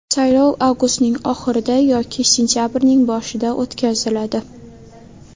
Saylov avgustning oxirida yoki sentabrning boshida o‘tkaziladi.